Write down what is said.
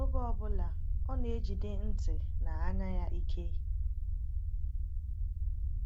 Oge ọ bụla, ọ na-ejide ntị na anya ya ike.